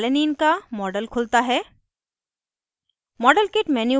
screen पर alanine का model खुलता है